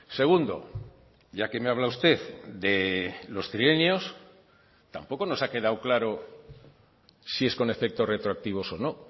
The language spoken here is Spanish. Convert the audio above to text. segundo ya que me habla usted de los trienios tampoco nos ha quedado claro si es con efectos retroactivos o no